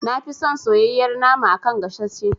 Nafi son soyayyar nama a kan gasashe.